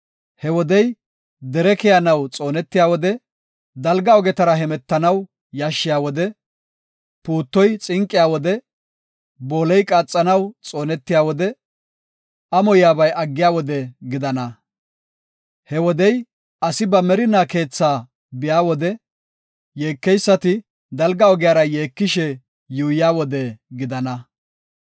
He wodey, dere keyanaw xoonetiya wode, dalga ogetara hemetanaw yashshiya wode, lawuze mithi ciiyiya wode, booley qaaxanaw xoonetiya wode, amoyabay aggiya wode gidana. He wodey, asi ba merinaa keethaa biya wode, yeekeysati dalga ogiyara yeekishe yuuyiya wode gidana.